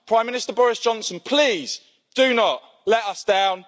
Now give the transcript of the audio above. Prime Minister Boris Johnson, please do not let us down.